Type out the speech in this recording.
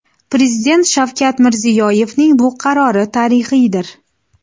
Prezident Shavkat Mirziyoyevning bu qarori tarixiydir.